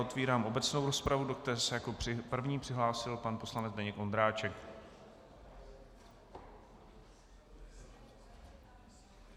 Otvírám obecnou rozpravu, do které se jako první přihlásil pan poslanec Zdeněk Ondráček.